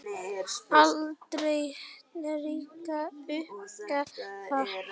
Aldrei ríkti uppgjöf þar.